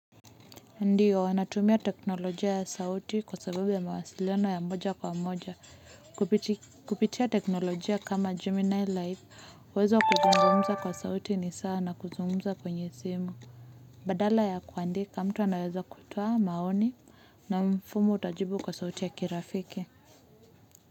Ndiyo wanatumia teknolojia ya sauti kwa sababu ya mawasiliano ya moja kwa moja. Kupitia teknolojia kama Gemini Life uwezo kuzungumza kwa sauti ni sawa na kuzungumza kwenye simu. Badala ya kuandika, mtu anayeza kutoa maoni na mfumo utajibu kwa sauti ya kirafiki.